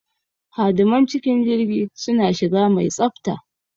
Hadiman cikin jirgi suna shiga mai tsafta.